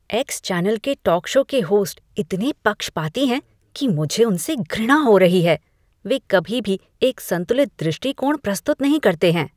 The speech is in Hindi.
एक्स चैनल के टॉक शो के हॉस्ट इतने पक्षपाती हैं कि मुझे उनसे घृणा हो रही है। वे कभी भी एक संतुलित दृष्टिकोण प्रस्तुत नहीं करते हैं।